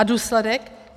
A důsledek?